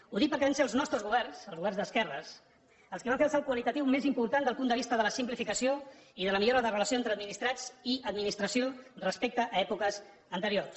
ho dic perquè van ser els nostres governs els governs d’esquerres els que van fer el salt qualitatiu més important des del punt de vista de la simplificació i de la millora de la relació entre administrats i administració respecte a èpoques anteriors